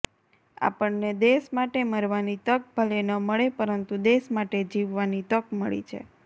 આપણને દેશ માટે મરવાની તક ભલે ન મળે પરંતુ દેશ માટે જીવવાની તક મળી છે